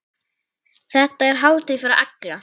Þetta er hátíð fyrir alla.